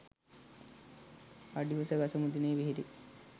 අඩි උස ගස මුදුනේ පිහිටි